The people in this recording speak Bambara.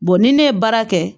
ni ne ye baara kɛ